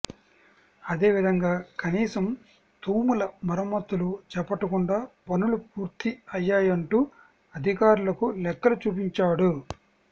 అదే విధంగా కనీసం తూముల మరమ్మతులు చేపట్టకుండా పనులు పూర్తి అయ్యాయంటూ అధికారులకు లెక్కలు చూపించాడు